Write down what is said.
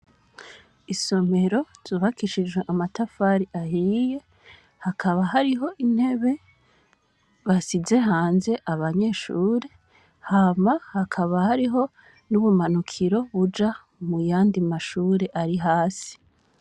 Isomero zubakishijwe amatafari ahiye hakaba hariho intebe basize hanze abanyeshure hama hakaba hariho n'ubumanukiro buja muyandi mashure ari hasi.